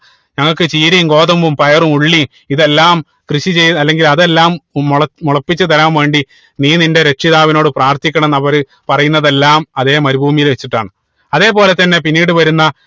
ഞങ്ങൾക്ക് ചീരയും ഗോതമ്പും പയറും ഉള്ളിയും ഇതെല്ലാം കൃഷി ചെയ്ത് അല്ലെങ്കിൽ അതെല്ലാം മുളപ്പി മുളപ്പിച്ച് തരാൻ വേണ്ടി നീ നിന്റെ രക്ഷിതാവിനോട് പ്രാർത്ഥിക്കണം അവര് പറയുന്നതെല്ലാം അതേ മരുഭൂമിയിൽ വെച്ചിട്ടാണ് അതേപോലെ തന്നെ പിന്നീട് വരുന്ന